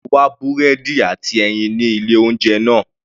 Mo wá búrẹ́dì àti ẹyin ní ilé oúnjẹ náà.